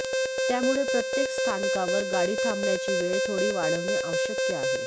त्यामुळे प्रत्येक स्थानकावर गाडी थांबण्याची वेळ थोडी वाढवणे आवश्यक आहे